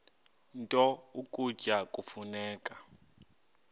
nto ukutya kufuneka